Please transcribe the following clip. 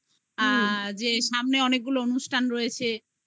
যে সামনে অনেকগুলো অনুষ্ঠান রয়েছে